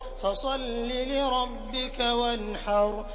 فَصَلِّ لِرَبِّكَ وَانْحَرْ